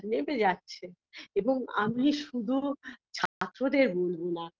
নেমে যাচ্ছে এবং আমি শুধু ছাত্রদের বলবো না